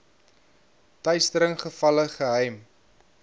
teistering gevalle geheim